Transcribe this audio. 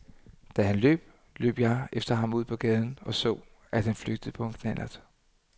Da han løb, løb jeg efter ham ud på gaden og så, at han flygtede på en knallert.